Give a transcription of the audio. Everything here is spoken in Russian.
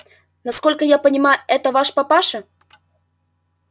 насколько я понимаю это ваш папаша